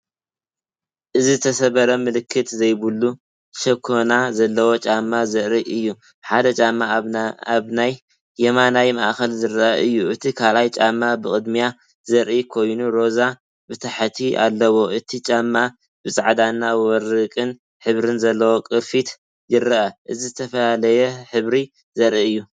እዚ ዝተሰብረን ምልክት ዘይብሉን ሸኾና ዘለዎ ጫማ ዘርኢ እዩ። ሓደ ጫማ ኣብ የማናይ ማእከል ዝረአ እዩ። እቲ ካልእ ጫማ ብቕድሚት ዝርአ ኮይኑ ሮዛ ብታሕቲ ኣለዎ። እቲ ጫማ ብጻዕዳን ወርቅን ሕብሪ ዘለዎ ቅርፊት ይረአ። እዚ ዝተፈላለየ ሕብሪ ዘርኢ እዩ።